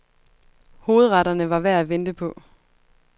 Hovedretterne var værd at vente på.